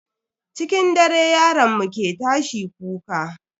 Cikin dare yaron mu ke tashi kuka.